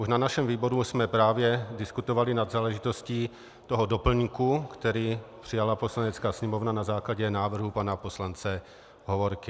Už na našem výboru jsme právě diskutovali nad záležitostí toho doplňku, který přijala Poslanecká sněmovna na základě návrhu pana poslance Hovorky.